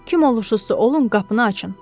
Kim olursuzsa olun, qapını açın!